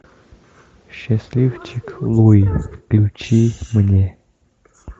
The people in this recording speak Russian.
счастливчик луи включи мне